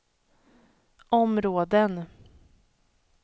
områden